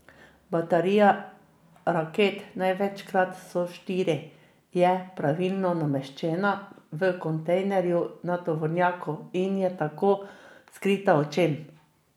Baterija raket, največkrat so štiri, je praviloma nameščena v kontejnerju na tovornjaku, in je tako skrita očem.